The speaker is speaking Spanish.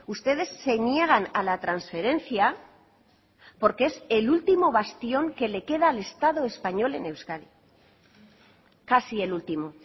ustedes se niegan a la transferencia porque es el último bastión que le queda al estado español en euskadi casi el último